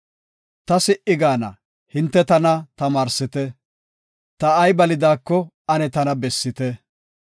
“Ta si77i gaana; hinte tana tamaarsite; ta ay balidaako ane tana bessite.